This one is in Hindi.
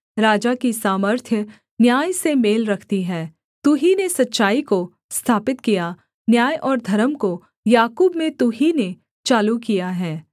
राजा की सामर्थ्य न्याय से मेल रखती है तू ही ने सच्चाई को स्थापित किया न्याय और धर्म को याकूब में तू ही ने चालू किया है